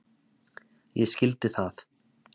Ég skildi það.